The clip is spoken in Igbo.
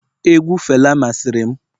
egwu fela masịrị m